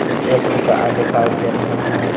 एक दुकान दिखाई दे रहे हैं।